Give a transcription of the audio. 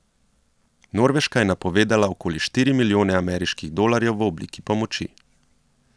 Norveška je napovedala okoli štiri milijone ameriških dolarjev v obliki pomoči.